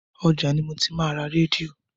Ọjà ni mo ti máa ra rédíò.